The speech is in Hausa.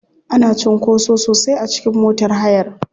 Ana cunkoso sosai a cikin motar hayar.